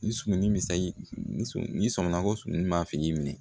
Ni surunin misɛn n'i sɔnna ko sununi ma fiyɛ k'i minɛ